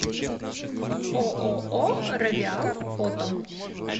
ооо равиал фото